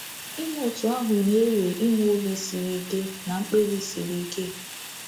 Ime otú ahụ na-ewe inwe obi siri ike na mkpebi siri ike.